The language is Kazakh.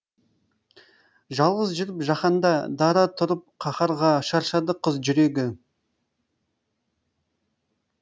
жалғыз жүріп жаһанда дара тұрып қаһарға шаршады қыз жүрегі